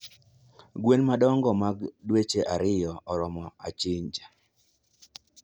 gwen madongo mag dweche ariyo oromo achinja